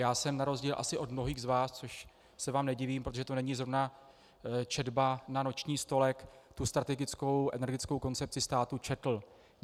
Já jsem na rozdíl asi od mnohých z vás, což se vám nedivím, protože to není zrovna četba na noční stolek, tu strategickou energetickou koncepci státu četl.